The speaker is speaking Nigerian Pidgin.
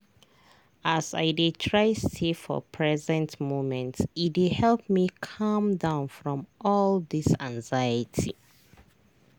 as i dey try stay for present moment e dey help me calm down from all this anxiety.